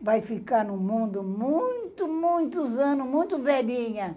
Vai ficar no mundo muito, muitos anos, muito velhinha.